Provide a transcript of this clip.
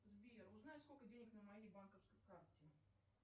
сбер узнай сколько денег на моей банковской карте